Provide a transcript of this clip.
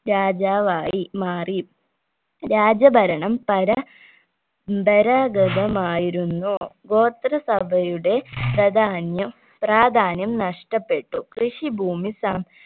രാജാവായി മാറി രാജഭരണം പരമ്പ രാ ഗതമായിരുന്നു ഗോത്രസഭയുടെ പ്രധാന്യം പ്രാധാന്യം നഷ്ട്ടപ്പെട്ടു കൃഷി ഭൂമി സം